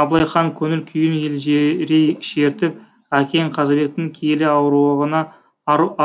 абылай хан көңіл күйін елжірей шертіп әкең қазыбектің киелі